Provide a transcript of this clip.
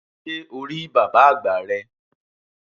Sé o rí bàbá àgbà rẹ?